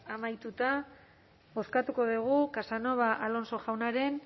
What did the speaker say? amaituta bozkatuko dugu casanova alonso jaunaren